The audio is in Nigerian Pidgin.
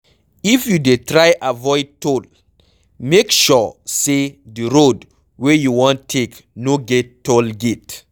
If you dey try avoid toll, make sure sey di road wey you wan take no get toll gate